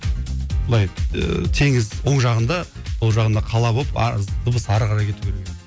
былай ыыы теңіз оң жағында сол жағында қала болып дыбыс ары қарай кету керек еді